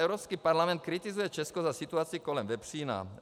Evropský parlament kritizuje Česko za situaci kolem vepřína.